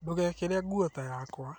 Ndũgeekĩre nguo ta yakwa